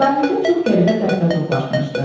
Sahildə çox qəribə dəstə toplaşmışdı.